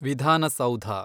ವಿಧಾನ ಸೌಧ